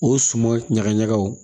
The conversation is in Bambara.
O suman ɲaga ɲagaw